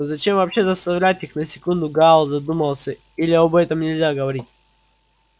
но зачем вообще заставлять их на секунду гаал задумался или об этом нельзя говорить